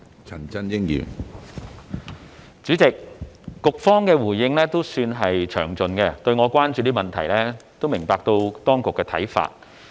主席，對於我關注的問題，局方的回應算是詳盡，而我亦明白當局的看法。